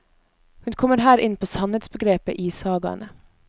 Hun kommer her inn på sannhetsbegrepet i sagaene.